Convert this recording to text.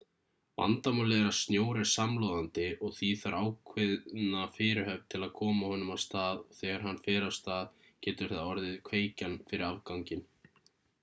vandamálið er að snjór er samloðandi og því þarf ákveðna fyrirhöfn til að koma honum af stað og þegar hann fer af stað getur það orðið kveikjan fyrir afganginn